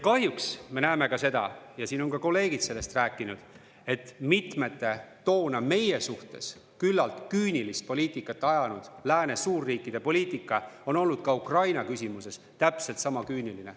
Kahjuks me näeme seda – ja siin on ka kolleegid sellest rääkinud –, et mitmete toona meie suhtes küllalt küünilist poliitikat ajanud lääne suurriikide poliitika on olnud ka Ukraina küsimuses täpselt sama küüniline.